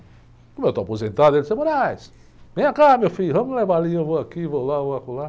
Como eu estou aposentado, ele disse, vem cá, meu filho, vamos levar ali, eu vou aqui, vou lá, vou acolá.